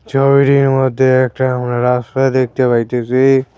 ছবিটির মধ্যে একটা আমরা রাস্তা দেখতে পাইতেছি।